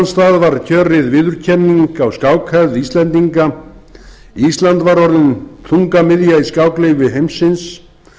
stað var kjörið viðurkenning á skákhefð íslendinga ísland var orðin þungamiðja í skáklífi heimsins